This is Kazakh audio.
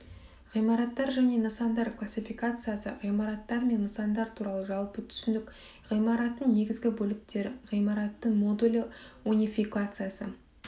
ғимараттар және нысандар классификациясы ғимараттар мен нысандар туралы жалпы түсінік ғимараттың негізгі бөліктері ғимараттың модулі унификациясы